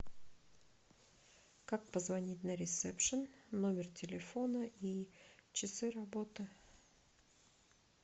как позвонить на ресепшен номер телефона и часы работы